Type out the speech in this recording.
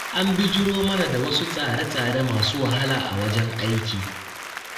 An bijiro mana da wasu tsare-tsare masu wahala a wajen aiki.